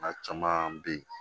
A caman bɛ yen